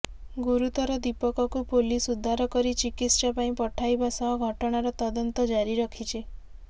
ଗୁରୁତର ଦିପକକୁ ପୋଲିସ ଉଦ୍ଧାର କରି ଚିକିତ୍ସା ପାଇଁ ପଠାଇବା ସହ ଘଟଣାର ତଦନ୍ତ ଜାରି ରଖିଛି